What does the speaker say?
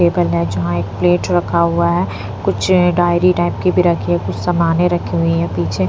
table है जहाँ एक प्लेट रखा हुआ है कुछ डायरी टाइप की भी रखी है कुछ सामानें रखी हुई है पीछे --